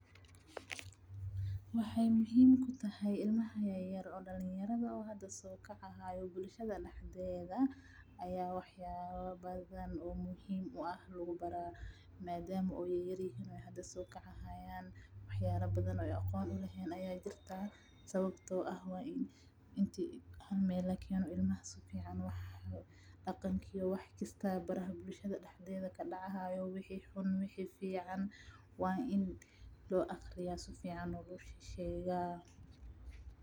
Waxaay muhiim kutahay ilmaha yayar oo dalan yarada oo hada soo kaca haayo bulshada daxdeda ayaa waxyaaba badan oo muhiim u ah lagu baraa, maadaamaa oo ay yayaryihin oo hada soo kacaayaan waxyaala badan oo aqoon ay uleheen ayaa jirtaa sababtoo ah waa ini halmeel lakeno ilmaha. Daqanki iyo waxaa jirtaa wax baraha bulshada daxdeeda kadacaayo wixi xun wixi fiican waa in loo aqriyaa sifican looga sheegaa.